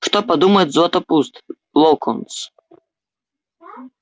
что подумает златопуст локонс